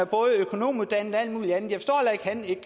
både økonomiuddannet og alt muligt andet